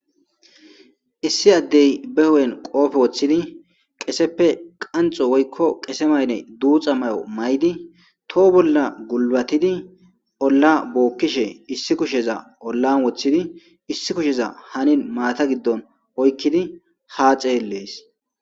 Issi addey be hu7en qoofe woththidi qeseppe qanxo woykko qese mayne duuxa mayo may7di toho bolla gulbatidi olla bookkishe issi kusheza ollan woththidi issi kusheza hanin maata giddon oykkidi haa xeeelees.